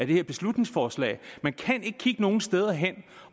det her beslutningsforslag vi kan ikke kigge nogen steder hen